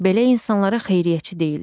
Belə insanlara xeyriyyəçi deyirlər.